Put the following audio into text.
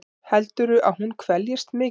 Heldurðu að hún kveljist mikið?